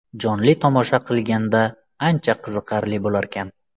Jonli tomosha qilganda ancha qiziqarli bo‘larkan.